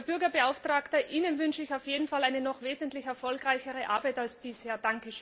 Herr Bürgerbeauftragter, Ihnen wünsche ich auf jeden Fall eine noch wesentlich erfolgreichere Arbeit als bisher.